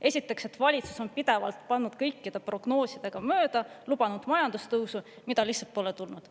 Esiteks, et valitsus on pidevalt pannud kõikide prognoosidega mööda, lubanud majandustõusu, mida lihtsalt pole tulnud.